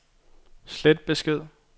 slet besked